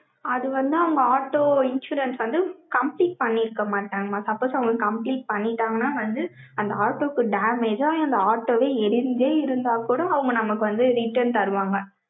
அது வந்து, அவங்க ஆட்டோ insurance வந்து, complete பண்ணியிருக்க மாட்டாங்கம்மா. suppose அவங்களுக்கு, compel பண்ணிட்டாங்கன்னா வந்து, அந்த ஆட்டோக்கு damage அந்த auto வே, எரிஞ்சே இருந்தா கூட, அவங்க நமக்கு வந்து, return தருவாங்க.